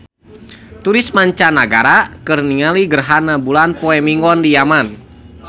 Turis mancanagara keur ningali gerhana bulan poe Minggon di Yaman